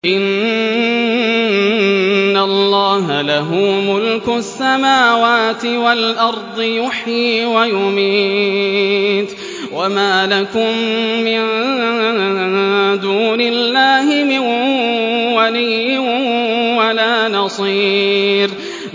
إِنَّ اللَّهَ لَهُ مُلْكُ السَّمَاوَاتِ وَالْأَرْضِ ۖ يُحْيِي وَيُمِيتُ ۚ وَمَا لَكُم مِّن دُونِ اللَّهِ مِن وَلِيٍّ وَلَا نَصِيرٍ